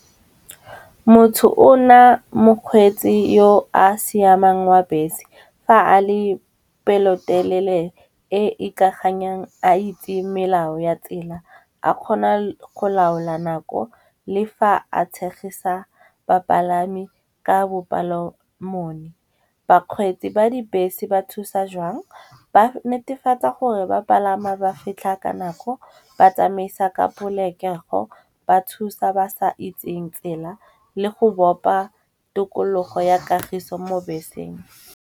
Motho o na mokgweetsi yo a siamang wa bese, fa a le pelotelele e ikaganyang a itse melao ya tsela, a kgona go laola nako le fa a tshegisa bapalami ka bopalomoni. Bakgweetsi ba dibese ba thusa jwang, ba netefatsa gore ba palama ba fitlha ka nako, ba tsamaisa ka polokego, ba thusa ba sa itseng tsela le go bopa tikologo ya kagiso mo beseng.